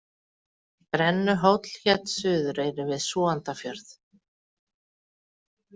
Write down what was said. Brennuhóll hét á Suðureyri við Súgandafjörð.